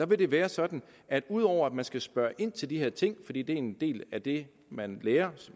vil det være sådan at ud over at man skal spørge ind til de her ting fordi det er en del af det man lærer